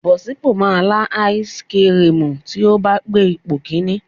Bọ̀sípò máa lá áísiì kirìmì tí ó bá gbé ipò kìíní.